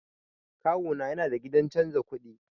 Kawuna yana da gidan canza kuɗi.